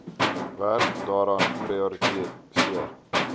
werk daaraan prioritiseer